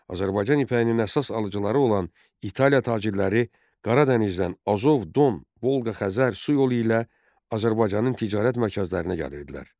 Azərbaycan ipəyinin əsas alıcıları olan İtaliya tacirləri Qara dənizdən Azov, Don, Volqa-Xəzər su yolu ilə Azərbaycanın ticarət mərkəzlərinə gəlirdilər.